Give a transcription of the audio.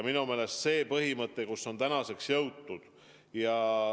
Minu meelest see põhimõte, milleni on tänaseks jõutud ...